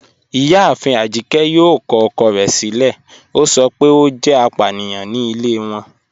Ìyáàfín Ajíkẹ̀ yóò kọ ọ̀kọ̀ rẹ̀ silẹ̀, o sọ pé o jẹ́ àpàníyàn ní ilẹ̀ wọn